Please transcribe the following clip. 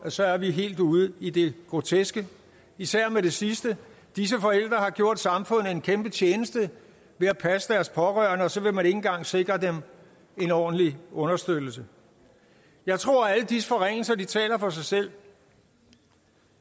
at så er vi helt ude i det groteske især i det sidste disse forældre har gjort samfundet en kæmpe tjeneste ved at passe deres pårørende og så vil man ikke engang sikre dem en ordentlig understøttelse jeg tror at alle disse forringelser taler for sig selv